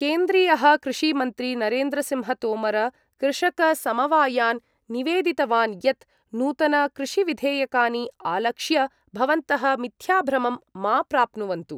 केन्द्रीयः कृषिमन्त्री नरेन्द्रसिंहतोमर कृषकसमवायान् निवेदितवान् यत् नूतनकृषिविधेयकानि आलक्ष्य भवन्तः मिथ्याभ्रमं मा प्राप्नुवन्तु